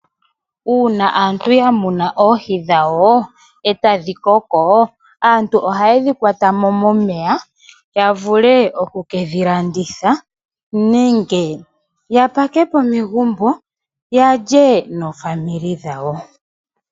Uuna aantu ya muna oohi dhawo etadhi koko aantu ohaye dhi kwatamo momeya ya vule oku kedhi landitha nenge ya pakepo megumbo yalye naakwanezimo yawo.